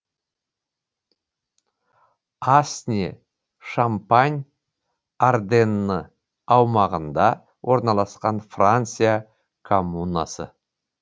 асне шампань арденны аумағында орналасқан франция коммунасы